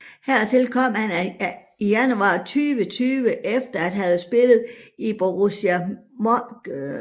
Hertil kom han i januar 2020 efter at have spillet i Borussia Dortmund siden 2015